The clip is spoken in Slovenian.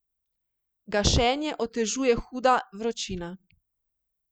Gašenje otežuje huda vročina.